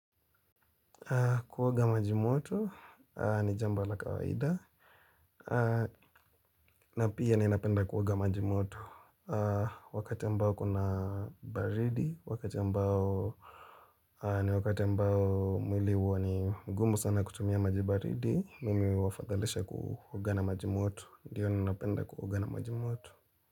Kuoga maji moto ni jambo la kawaida. Na pia ninapenda kuoga maji moto. Wakati ambao kuna baridi, wakati ambao ni wakati ambao mwili huwa ni gumu sana kutumia maji baridi. Mimi wafadhalisha kuoga na maji moto. Ndiyo ninapenda kuoga na maji moto.